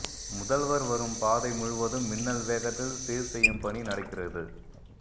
முதல்வர் வரும் பாதை முழுவதும் மின்னல் வேகத்தில் சீர் செய்யும் பணி நடக்கிறது